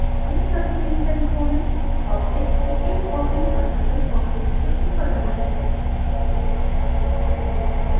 इन सभी 3 तरीकों में object की एक copy वास्तविक object के ऊपर बनती है